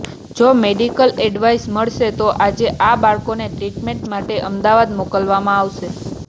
જો medical advice મળશે તો આજે આ બાળકોને ટ્રીટમેન્ટ માટે અમદાવાદ મોકલવામાં આવશે